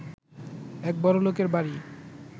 এক বড়লোকের বাড়ি